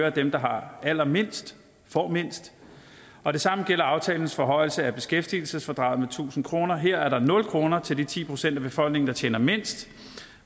at dem der har allermindst får mindst og det samme gælder aftalens forhøjelse af beskæftigelsesfradraget med tusind kroner her er der nul kroner til de ti procent af befolkningen der tjener mindst